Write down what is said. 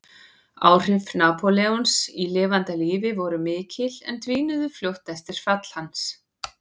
Áhrif Napóleons í lifanda lífi voru mikil en dvínuðu fljótt eftir fall hans.